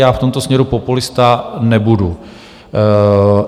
Já v tomto směru populista nebudu.